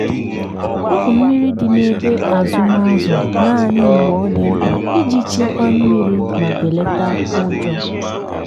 wepu mmiri dị n’ebe azụm azụ naanị mgbe ọ dị mkpa iji chekwaa mmiri ma belata ụjọ.